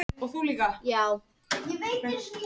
Þar er það geymt þangað til flugurnar éta það.